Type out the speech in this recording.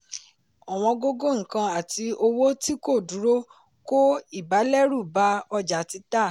ọ̀wọ́n gógó nkan àti owó tí kò duro ko ibalẹ ru bá ọjà títà.